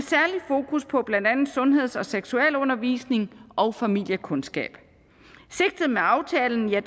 fokus på blandt andet sundheds og seksualundervisning og familiekundskab sigtet med aftalen er